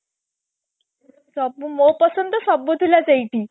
ସବୁ ମୋ ପସନ୍ଦର ତ ସବୁ ଥିଲା ସେଇଠି